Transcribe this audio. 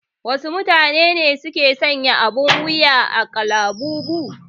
Wasu matune ne ke sanya abin wuya na kalabubu?